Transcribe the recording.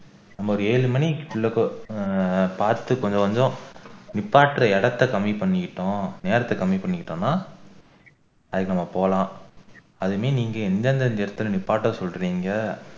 நம்ம ஒரு ஏழு மணிக்கு உள்ளுக்கு ஆஹ் பாத்து கொஞ்சம் கொஞ்சம் நிப்பாட்டுற இடத்தை கம்மி பண்ணிக்கிட்டோம் நேரத்தை கம்மி பண்ணிக்கிட்டோம்னா தயங்காம போகலாம் அதுவுமே நீங்க எந்தெந்த இடத்துல நிப்பாட்ட சொல்றீங்க